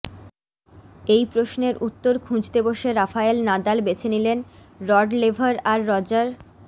এই প্রশ্নের উত্তর খুঁজতে বসে রাফায়েল নাদাল বেছে নিলেন রড লেভার আর রজার